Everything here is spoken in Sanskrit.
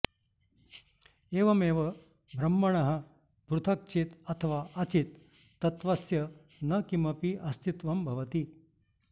एवमेव ब्रह्मणः पृथक् चित् अथवा अचित् तत्त्वस्य न किमपि अस्तित्वं भवति